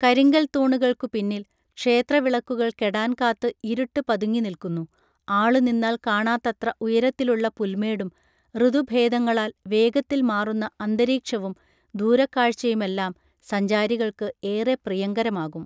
കരിങ്കൽത്തൂണുകൾക്കു പിന്നിൽ ക്ഷേത്രവിളക്കുകൾ കെടാൻ കാത്ത് ഇരുട്ട് പതുങ്ങിനിൽക്കുന്നു ആളുനിന്നാൽ കാണാത്തത്ര ഉയരത്തിലുള്ള പുൽമേടും ഋതുഭേദങ്ങളാൽ വേഗത്തിൽ മാറുന്ന അന്തരീക്ഷവും ദൂരക്കാഴ്ചയുമെല്ലാം സഞ്ചാരികൾക്ക് ഏറെ പ്രിയങ്കരമാകും